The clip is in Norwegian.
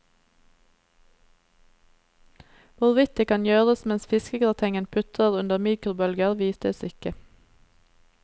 Hvorvidt det kan gjøres mens fiskegratengen putrer under mikrobølger, vites ikke.